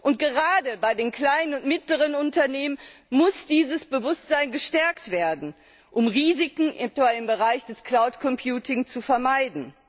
Und gerade bei den kleinen und mittleren Unternehmen muss dieses Bewusstsein gestärkt werden, um Risiken etwa im Bereich des Cloud Computing zu vermeiden.